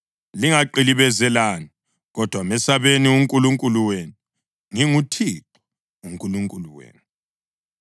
Lingaqilibezelani; kodwa mesabeni uNkulunkulu wenu. NginguThixo uNkulunkulu wenu.